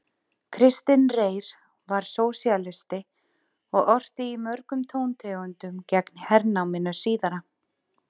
Kristinn Reyr var sósíalisti og orti í mörgum tóntegundum gegn hernáminu síðara.